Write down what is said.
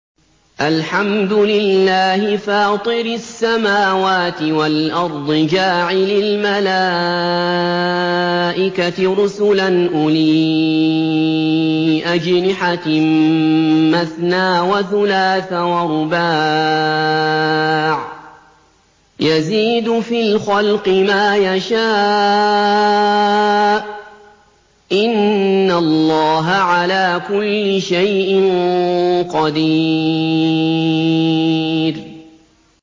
الْحَمْدُ لِلَّهِ فَاطِرِ السَّمَاوَاتِ وَالْأَرْضِ جَاعِلِ الْمَلَائِكَةِ رُسُلًا أُولِي أَجْنِحَةٍ مَّثْنَىٰ وَثُلَاثَ وَرُبَاعَ ۚ يَزِيدُ فِي الْخَلْقِ مَا يَشَاءُ ۚ إِنَّ اللَّهَ عَلَىٰ كُلِّ شَيْءٍ قَدِيرٌ